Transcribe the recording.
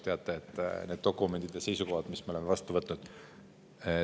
Teate, need dokumendid ja seisukohad, mis me oleme vastu võtnud …